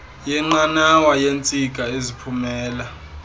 yenqanawa yeentsika eziphumela